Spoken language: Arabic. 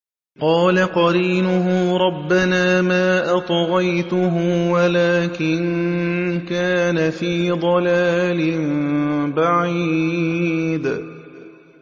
۞ قَالَ قَرِينُهُ رَبَّنَا مَا أَطْغَيْتُهُ وَلَٰكِن كَانَ فِي ضَلَالٍ بَعِيدٍ